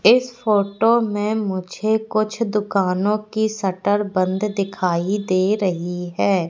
इस फोटो में मुझे कुछ दुकानों की शटर बंद दिखाई दे रही है।